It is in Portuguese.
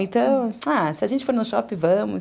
Então, se a gente for no shopping, vamos.